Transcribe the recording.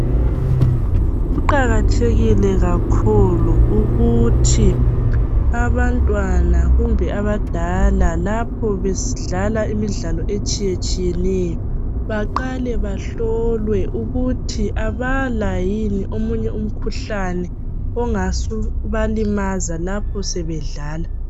Kuqakathekile kakhulu ukuthi abantwana kumbe abadala lapho besidlala imidlalo etshiyetshiyeneyo baqale bahlolwe ukuthi abala yini omunye umkhuhlane ongasubalimaza lapho sebedlala.